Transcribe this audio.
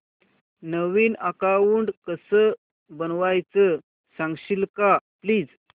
नवीन account कसं बनवायचं सांगशील का प्लीज